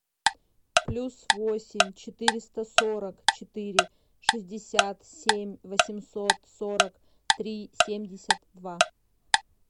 плюс восемь четыреста сорок четыре шестьдесят семь восемьсот сорок три семьдесят два